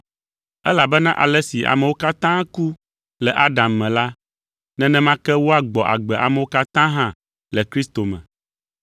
Elabena ale si amewo katã ku le Adam me la, nenema ke woagbɔ agbe amewo katã hã le Kristo me.